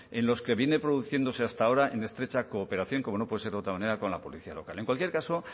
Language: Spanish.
en los que viene produciéndose hasta ahora en estrecha colaboración como no puede ser de otra manera con la policía local en cualquier caso